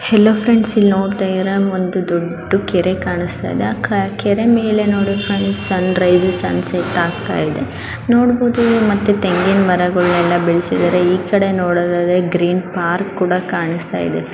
Hello friends ಎಲ್ ನೋಡ್ತಾ ಇದಿರಾ ಒಂದು ದೊಡ್ಡ ಕೆರೆ ಕಾಣಸ್ತಾ ಇದೆ ಆ ಕ ಕೆರೆ ಮೇಲೆ ನೋಡಿ friends sunrise sunset ಆಗ್ತಾಇದೆ ನೋಡಬೌದು ಮತ್ತೆ ತೆಂಗಿನ ಮರಗಳು ಎಲ್ಲಾ ಬೆಳ್ಸಿದರೆ ಈಕಡೆ ನೋಡೋದಾದ್ರೆ ಗ್ರೀನ್ ಪಾರ್ಕ್ ಕೂಡ ಕಾಣಸ್ತಾಇದೆ.